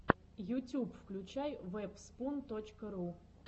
ютюб включай вэбспун точка ру